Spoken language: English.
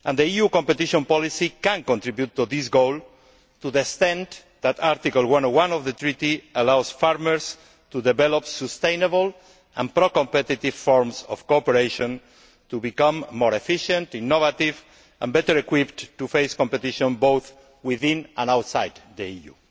EU competition policy can contribute to this goal, to the extent that Article 101 of the Treaty allows farmers to develop sustainable and pro competitive forms of cooperation to become more efficient, innovative, and better equipped to face competition both within and outside the EU.